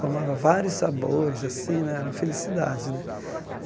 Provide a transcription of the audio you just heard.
Tomava vários sabores assim né, era uma felicidade né.